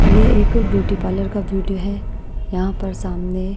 ये एक beauty parlour का वीडियो है यहां पर सामने --